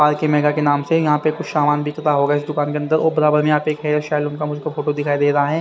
R K mega के नाम से यहां पे कुछ सामान बिकता होगा इस दुकान के अंदर और बड़ा बड़ा में यहां पे एक हेयर सैलून का मुझको फोटो दिखाई दे रहा है।